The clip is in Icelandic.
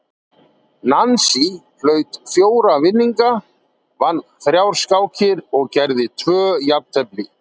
Nansý hlaut fjóra vinninga, vann þrjár skákir og gerði tvö jafntefli.